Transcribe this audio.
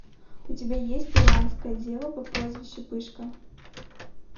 у тебя есть руанская дева по прозвищу пышка